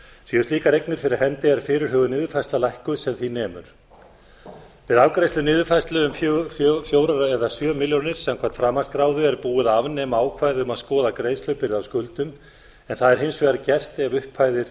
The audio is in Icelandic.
séu slíkar eignir fyrir hendi er fyrirhuguð niðurfærsla lækkuð sem því nemur við afgreiðslu á niðurfærslu fjögur eða sjö milljónir samkvæmt framanskráðu er búið að afnema ákvæði mat skoða greiðslubyrði af skuldum en það er hins vegar gert ef upphæðir